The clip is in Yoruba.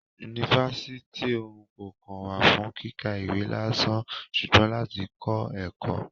Yunifasiti òun kò kàn wá fún kíkà ìwé lásán ṣugbọn lati kọ ẹkọ.